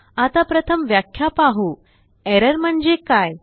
आता प्रथम व्याख्या पाहूErrorम्हणजे काय160